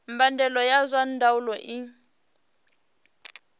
mbadelo ya zwa ndaulo i